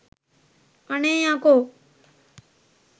අනේ යකෝ